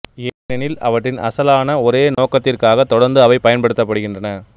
ஏனெனில் அவற்றின் அசலான ஒரே நோக்கத்திற்காக தொடர்ந்து அவை பயன்படுத்தப்படுகின்றன